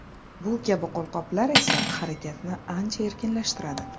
Bu kabi qo‘lqoplar esa harakatni ancha erkinlashtiradi.